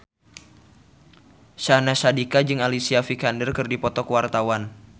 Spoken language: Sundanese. Syahnaz Sadiqah jeung Alicia Vikander keur dipoto ku wartawan